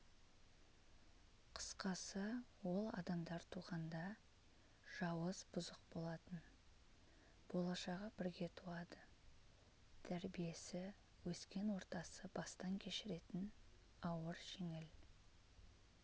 қысқасы ол адамдар туғанда жауыз бұзық болатын болашағы бірге туады тәрбиесі өскен ортасы бастан кешіретін ауыр-жеңіл